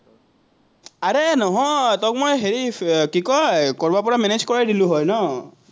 আৰে নহয়, তোক মই হেৰি কি কয় কৰবাৰপৰা manage কৰাই দিলো হয় ন।